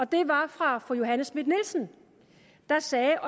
det var fra fru johanne schmidt nielsen der sagde